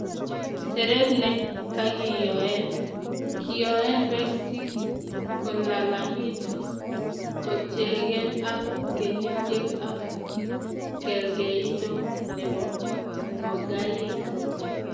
teret ne kagiyoen:kiyoen peek si kolalang'itun kotiengei ak kenyiisyek ak kergeindo ne po ngogaik.